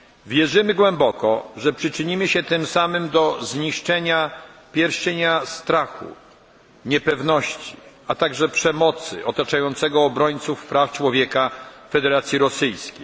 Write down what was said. Wierzymy głęboko, że przyczynimy się tym samym do zniszczenia pierścienia strachu, niepewności, a także przemocy otaczającego obrońców praw człowieka w Federacji Rosyjskiej.